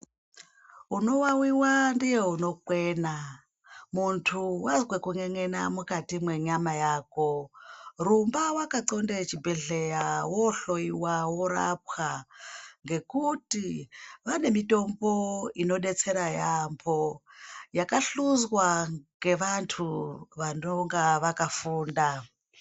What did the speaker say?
Unowawiwa ndiye unokwena muntu wazwe kun'en'ena mukati mwenyama yako rumba wakanxonde chibhedhlera wohloiwa worapwa ngekuti vane mitombo inodetsera yambo yakahluzwa ngevantu vanonga vakafunda.